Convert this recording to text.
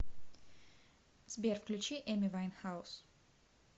сбер включи эми вайнхаус